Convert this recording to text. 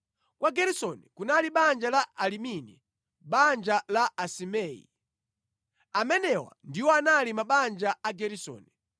Kwa Geresoni kunali banja la Alibini, banja la Asimei. Amenewa ndiwo anali mabanja a Ageresoni.